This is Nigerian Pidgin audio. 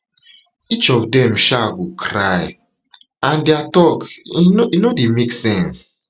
each of dem um go cry and dia tok um no dey make sense